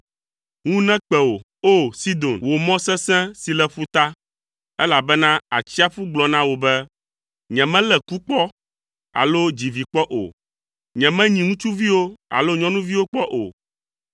Ŋu nekpe wò, O! Sidon, wò mɔ sesẽ si le ƒuta, elabena atsiaƒu gblɔ na wò be, “Nyemelé ku kpɔ alo dzi vi kpɔ o. Nyemenyi ŋutsuviwo alo nyɔnuviwo kpɔ o.”